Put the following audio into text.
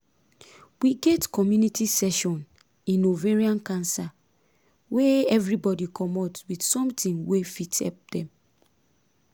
we get community session in ovarian cancer wey everybody commot with something wey fit help dem